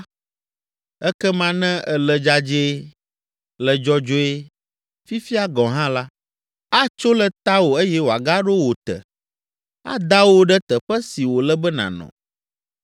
ekema ne èle dzadzɛe, le dzɔdzɔe, fifia gɔ̃ hã la, atso le tawò eye wòagaɖo wò te, ada wò ɖe teƒe si wòle be nànɔ.